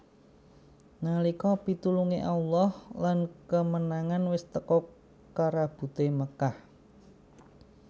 Nalika pitulunge Allah lan kemenangan wis teka karebute Makkah